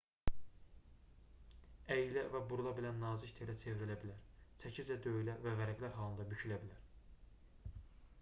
əyilə və burula bilən nazik telə çevrilə bilər çəkiclə döyülə və vərəqlər halında bükülə bilər